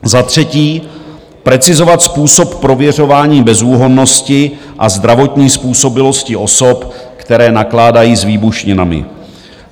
Za třetí, precizovat způsob prověřování bezúhonnosti a zdravotní způsobilosti osob, které nakládají s výbušninami.